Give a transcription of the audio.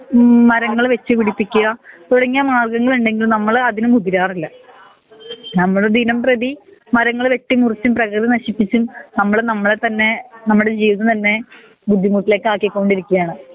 ഉം മരങ്ങൾ വെച്ച് പിടിപ്പിക്കാ തുടങ്ങിയ മാർഗങ്ങളിണ്ടെങ്കിൽ നമ്മൾ അതിന് മുതിരാറില്ല നമ്മൾ ദിനം പ്രേധി മരങ്ങൾ വെട്ടി മുറിച്ചും പ്രെകൾ നശിപ്പിച്ചും നമ്മൾ നമ്മളെ തന്നെ നമ്മുടെ ജീവിതം തന്നെ ബുദ്ധിമുട്ടിലേക്ക് ആക്കി കൊണ്ടിരിയ്ക്കാണ്